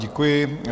Děkuji.